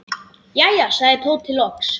Jæja sagði Tóti loks.